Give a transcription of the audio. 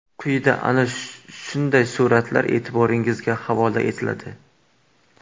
Quyida ana shunday suratlar e’tiboringizga havola etiladi.